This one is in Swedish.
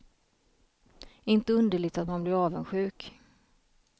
Inte underligt att man blir avundsjuk.